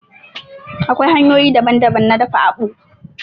Akwai hanyoyi daban daban na dafa àkpu